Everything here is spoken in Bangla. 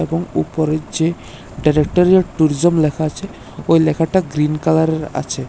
এবং উপরে যে ডিরেক্টারিয়েট ট্যুরিজম লেখা আছে ওই লেখাটা গ্রীন কালারের আছে।